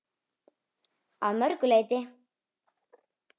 Að mörgu leyti.